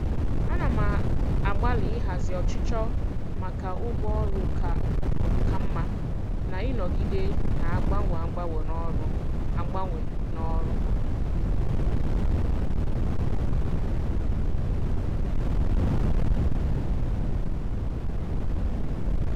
Ana m agbalị ịhazi ọchịchọ maka ụgwọ ọrụ ka mma na ịnọgide na-agbanwe agbanwe n'ọrụ. agbanwe n'ọrụ.